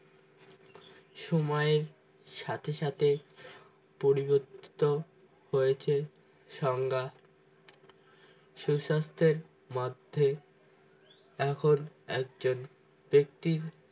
সময়ের সাথে সাথে পরিবর্তিত হয়েছে সংজ্ঞা সুস্বাস্থ্যের মধ্যে এখন একজন ব্যক্তি